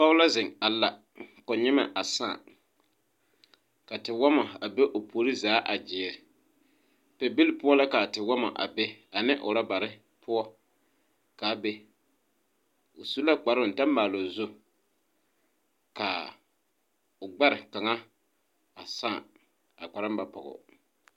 Poge la ziŋ a la ko nyimmɛ a sãã ka te wɔmma a be o puore zaa gyiire pɛbile poɔ la kaa tewɔmma a be ane rɔbarre poɔ kaa be o su la kparoo ta maaloo zu kaa o gbɛre kaŋa a sãã ka kparoo ba pɔgoo.